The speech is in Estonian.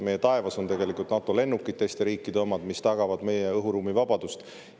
Meie taevas on NATO lennukid, teiste riikide omad, mis tagavad meie õhuruumis vabaduse.